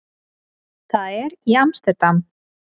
Það er í Amsterdam.